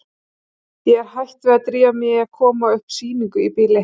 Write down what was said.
Ég er hætt við að drífa mig í að koma upp sýningu í bili.